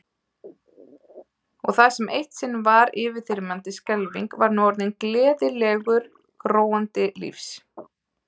Og það sem eitt sinn var yfirþyrmandi skelfing var nú orðinn gleðileikur gróandi lífs.